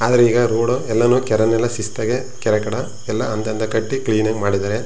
ಆದ್ರೆ ಈಗಾ ರೋಡು ಎಲ್ಲಾನು ಕೆರೆ ಮೇಲೆ ಶಿಸ್ತ್ ಆಗಿ ಕೆರೆಕಡ್ ಎಲ್ಲಾ ಒಂದೊಂದಾಗಿ ಕಟ್ಟಿ ಕ್ಲೀನ್ ಆಗಿ ಮಾಡಿದರೆ.